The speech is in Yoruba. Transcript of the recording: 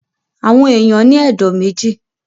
Àwọn èèyàn ní ẹ̀dọ̀ méjì